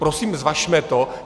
Prosím zvažme to.